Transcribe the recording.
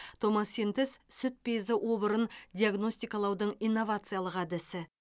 томосинтез сүт безі обырын диагностикалаудың инновациялық әдісі